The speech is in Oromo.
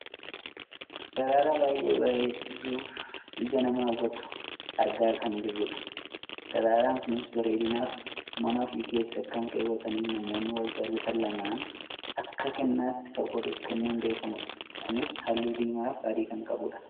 Daraaraa baayyee bareeduufi ija namaa hawwatu argaa kan jirrudha. Daraaraan kunis bareedinaaf mana ofii keessa kan kaawwataniifi namoonni wal jaalatan lamaan akka kennaatti kan waliif kennuun beekkamuudha. Kunis halluu diimaaf adii kan qabuudha.